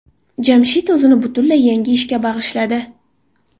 Jamshid o‘zini butunlay yangi ishga bag‘ishladi.